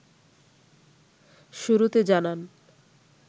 শুরুতে জানান